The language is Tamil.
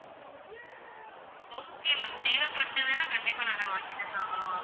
okay ma'am தேவப்பதுனா கண்டிப்பா நான் அதை வாங்கி தான் ஆகுவேன் ma'am